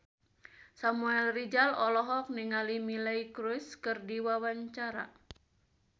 Samuel Rizal olohok ningali Miley Cyrus keur diwawancara